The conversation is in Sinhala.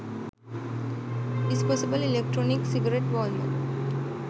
disposable electronic cigarette walmart